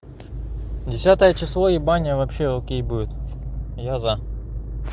десятое число и баня вообще окей будет я за